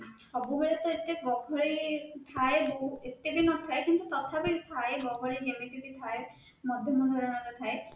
ସବୁବେଳେ ତ ଏତେ ଗହଳି ଥାଏ ବହୁତ ଏତେ ବି ନଥାଏ କିନ୍ତୁ ତଥାପି ଥାଏ ଗହଳି ଏମିତି ବି ଥାଏ ମାଧ୍ୟମ ଧରଣ ର ଥାଏ